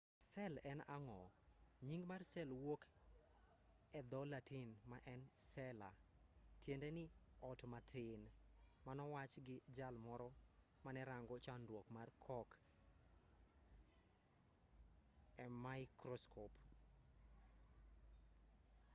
sel en ang'o nying mar sel wuok e dho-latin ma en cella tiende ni ot matin manowachi gi jal moro mane rango chanruok mar cork e maikroskop